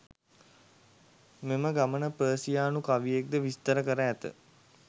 මෙම ගමන පර්සියානු කවියෙක් ද විස්තර කර ඇත.